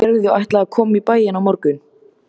Gerður ætlaði að koma í bæinn á morgun.